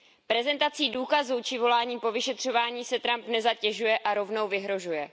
Prezentací důkazů či voláním po vyšetřování se Trump nezatěžuje a rovnou vyhrožuje.